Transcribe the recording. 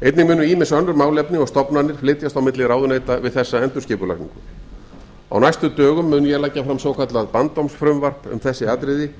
einnig munu ýmis önnur málefni og stofnanir flytjast á milli ráðuneyta við þessa endurskipulagningu á næstu dögum mun ég leggja fram svokallað bandormsfrumvarp um þessi atriði